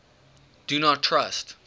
do not trust